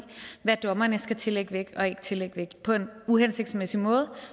hvad dommerne skal tillægge vægt og ikke tillægge vægt på en uhensigtsmæssig måde